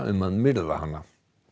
um að myrða hana